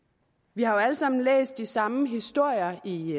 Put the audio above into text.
vi har jo alle sammen læst de samme historier i